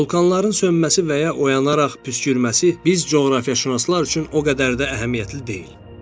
Vulkanların sönməsi və ya oyanaraq püskürməsi biz coğrafiyaçünaslar üçün o qədər də əhəmiyyətli deyil.